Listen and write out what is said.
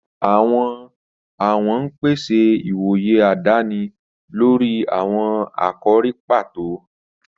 Àwọn ọ̀wọ̀n ń pèsè ìwòye àdáni lórí àwọn àkòrí pàtó.